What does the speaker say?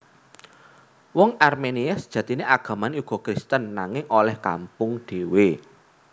Wong Arménia sajatiné agamané uga Kristen nanging olèh kampung dhéwé